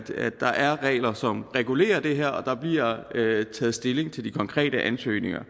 der er regler som regulerer det her og der bliver taget stilling til de konkrete ansøgninger